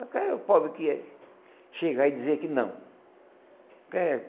Eh Qual é o pobre que ia xingar e dizer que não.